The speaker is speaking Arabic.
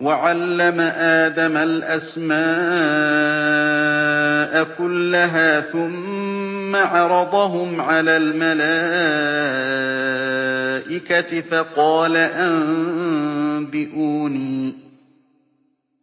وَعَلَّمَ آدَمَ الْأَسْمَاءَ كُلَّهَا ثُمَّ عَرَضَهُمْ عَلَى الْمَلَائِكَةِ